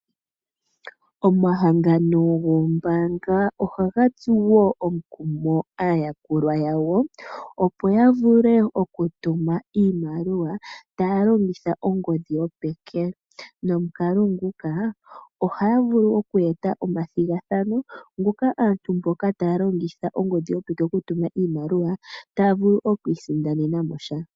Omahangano goombanga oha ga tsu woo omukumo aayakulwa ya wo opo yavule okutuma iimaliwa taalongitha ongodhi yopeke. Nomokalo nguka ohaa vulu okweeta omathigathano gaamboka taa tumu iimaliwa taa longitha ongodhi yopeke otaa vulu yii sindanenamo sha.